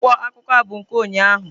Akwụkwọ akụkọ a bụ nke ụnyahụ.